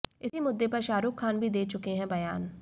इसी मुद्दे पर शाहरुख खान भी दे चुके हैं बयान